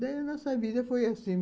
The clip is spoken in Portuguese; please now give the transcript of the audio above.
Daí a nossa vida foi assim.